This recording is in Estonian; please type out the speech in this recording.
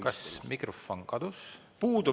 Kas mikrofon kadus?